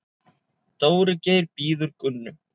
Dóri Geir bíður Gunnu.